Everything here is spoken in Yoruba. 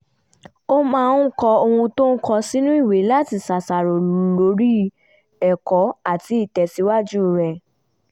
ó máa ń kọ ohun tó ń kọ́ sínú ìwé láti ṣàṣàrò lórí ẹ̀kọ́ àti ìtẹ̀síwájú rẹ̀